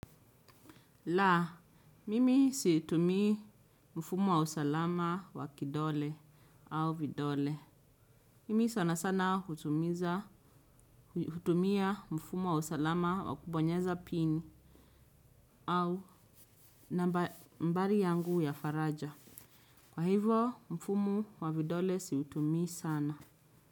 La, mimi situmii mfumo wa usalama wa kidole au vidole. Mimi sana sana hutumia mfumo wa usalama wa kubonyeza pin au nambari yangu ya faraja. Kwa hivyo, mfumo wa vidole siutumii sana.